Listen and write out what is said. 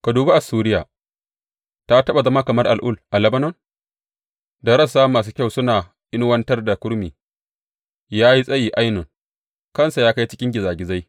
Ka dubi Assuriya, ta taɓa zama kamar al’ul a Lebanon da rassa masu kyau suna inuwartar da kurmi; ya yi tsayi ainun kansa ya kai cikin gizagizai.